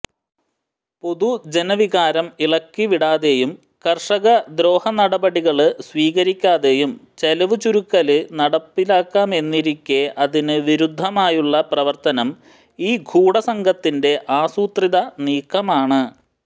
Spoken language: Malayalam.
പൊതുജനവികാരം ഇളക്കിവിടാതെയും കര്ഷക ദ്രോഹനടപടികള് സ്വീകരിക്കാതെയും ചെലവുചുരുക്കല് നടപ്പിലാക്കാമെന്നിരിക്കെ അതിന് വിരുദ്ധമായുള്ള പ്രവര്ത്തനം ഈ ഗൂഢസംഘത്തിന്റെ ആസൂത്രിത നീക്കമാണ്